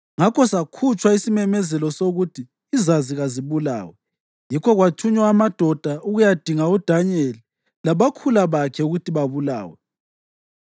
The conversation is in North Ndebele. Ngakho sakhutshwa isimemezelo sokuthi izazi kazibulawe, yikho kwathunywa amadoda ukuyadinga uDanyeli labakhula bakhe ukuthi babulawe.